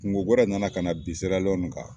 kungo wɛrɛ nana ka na bin SIRALEYƆNI kan.